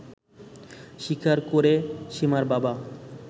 স্বীকার করে সীমার বাবা